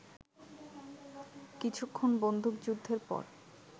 কিছুক্ষণ বন্দুকযুদ্ধের পর